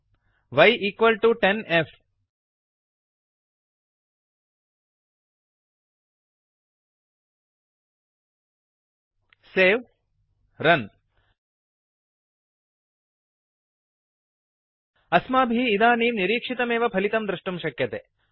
y10f वै समं दश एफ् सेव् रन् अस्माभिः इदानीं निरीक्षितमेव फलितं द्रष्टुं शक्यते